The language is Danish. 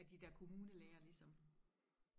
er de der kommunelæger ligesom